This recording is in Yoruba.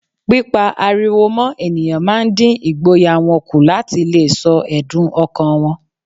Pípá ariwo mọ́ ènìyàn máa ń dín ìgboyà wọn kù láti leè sọ èdùn ọkàn wọn